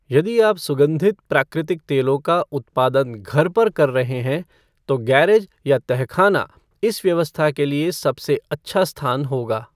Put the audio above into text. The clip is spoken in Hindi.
यदि आप सुगन्धित प्राकृतिक तेलों का उत्पादन घर पर कर रहे हैं, तो गैरेज या तहखाना इस व्यवस्था के लिए सबसे अच्छा स्थान होगा।